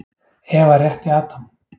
Eva rétti Adam.